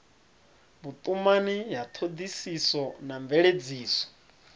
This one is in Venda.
vhutumani ya thodisiso na mveledziso